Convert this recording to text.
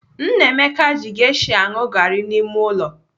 Nnameka ji gesha anụ garị n'ime ụlọ.